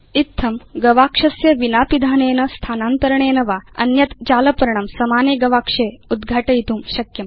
इत्थं गवाक्षस्य विना पिधानेन स्थानान्तरणेन वा भवान् अन्यत् जालपर्णं समाने गवाक्षे उद्घाटयितुं शक्नोति